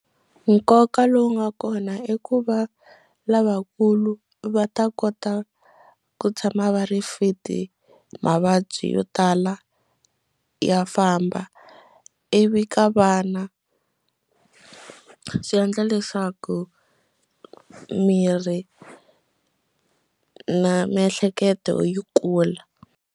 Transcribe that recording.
Nkoka lowu nga kona i ku va lavakulu va ta kota ku tshama va ri fit mavabyi yo tala ya famba ivi ka vana swi endla leswaku miri na miehleketo yi kula.